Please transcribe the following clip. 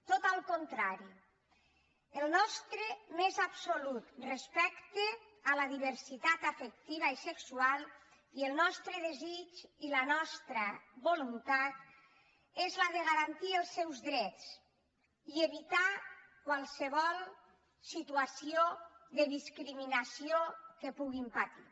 tot al contrari el nostre més absolut respecte a la diversitat afectiva i sexual i el nostre desig i la nostra voluntat són els de garantir els seus drets i evitar qualsevol situació de discriminació que puguin patir